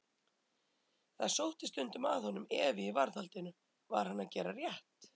Það sótti stundum að honum efi í varðhaldinu: var hann að gera rétt?